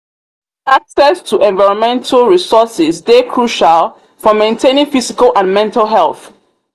access to environmental resourses dey crucial for maintaining physical and mental health.